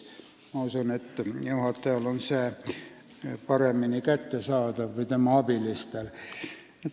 Ma usun, et juhatajale või tema abilistele on see paremini kättesaadav.